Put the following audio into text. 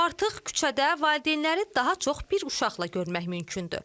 Artıq küçədə valideynləri daha çox bir uşaqla görmək mümkündür.